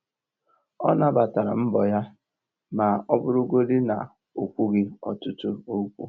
Ọ nabatara mbọ ya ma ọ bụrụgodị na - o kwughi ọtụtụ okwu